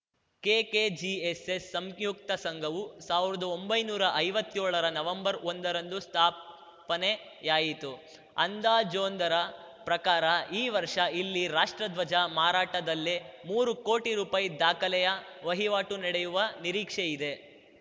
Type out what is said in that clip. KKGSS ಸಂಯುಕ್ತ ಸಂಘವು ಸಾವಿರ್ದಾ ಒಂಬೈನೂರಾ ಐವತ್ತ್ಯೋಳರ ನವೆಂಬರ್‌ ಒಂದರಂದು ಸ್ಥಾಪನೆಯಾಯಿತು ಅಂದಾಜೊಂದರ ಪ್ರಕಾರ ಈ ವರ್ಷ ಇಲ್ಲಿ ರಾಷ್ಟ್ರಧ್ವಜ ಮಾರಾಟದಲ್ಲೇ ಮೂರು ಕೋಟಿ ರುಪಾಯಿ ದಾಖಲೆಯ ವಹಿವಾಟು ನಡೆಯುವ ನಿರೀಕ್ಷೆಯಿದೆ